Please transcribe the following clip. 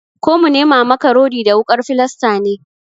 Ko mu nema maka rodi da wukar filasta ne?